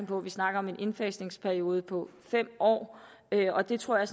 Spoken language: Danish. på at vi snakker om en indfasningsperiode på fem år og det tror jeg